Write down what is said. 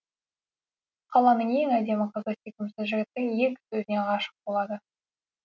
қаланың ең әдемі қызы сүйкімсіз жігіттің екі сөзіне ғашық болады